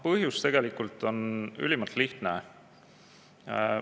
Põhjus tegelikult on ülimalt lihtne.